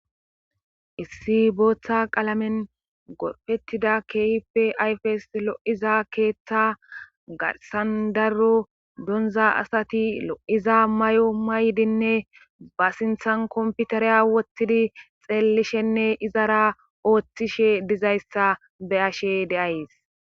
issi booththa qalamen gorfettida keehippe ayfes lo7iza keeththa garsan daro donza asati lo7iza may7o maydinne ba sinthan komputareya wottidi xeellishenne izara ooththishe dizayssa be ashe deays